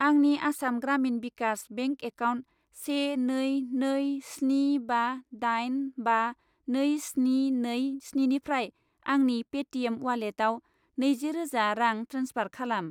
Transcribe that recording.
आंनि Assam Gramin Vikash bank account से नै नै स्नि बा दाइन बा नै स्नि नै स्निनिफ्राय आंनि पेटिएम उवालेटाव नैजि रोजा रां ट्रेन्सफार खालाम।